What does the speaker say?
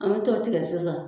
An be t'o tigɛ sisan